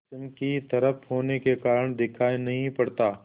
पश्चिम की तरफ होने के कारण दिखाई नहीं पड़ता